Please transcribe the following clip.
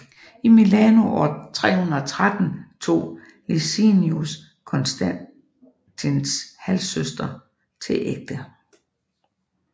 I Milano år 313 tog Licinius Konstantins halvsøster til ægte